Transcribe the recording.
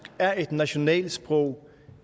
er et nationalsprog